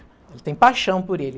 Ela tem paixão por ele.